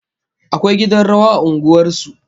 Akwai gidan rawa a unguwar su